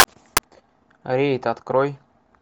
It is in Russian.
рейд открой